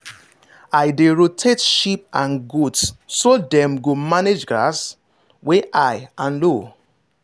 i dey rotate sheep and goat so dem go manage grass wey high and low.